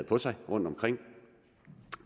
på sig rundtomkring